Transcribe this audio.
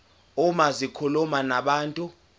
uma zikhuluma nabantu